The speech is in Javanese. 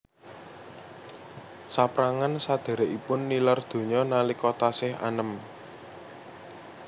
Saprangan sadhèrèkipun nilar donya nalika tasih anem